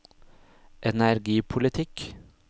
energipolitikk